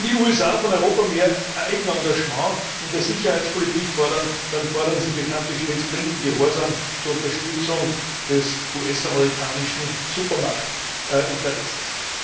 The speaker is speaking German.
Wenn die USA von Europa mehr Eigen Engagement in der Sicherheitspolitik fordern, dann fordern sie bekanntlich stets blinden Gehorsam zur Unterstützung des US amerikanischen Supermachtinteresses.